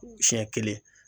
Siɲɛ kelen